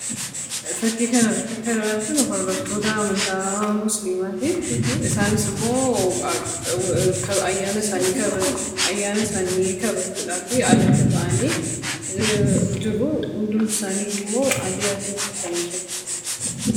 Fakkii kanarraatti kan arginu hordoftoota amantaa musiliimaati, isaanisimmoo ayyaana isaanii kabajuuf ayyaaana isaanii kabajuudhaafi alatti bahanii jiru. Hundumti isaaniyyuummoo uffata adii uffatanii jiru.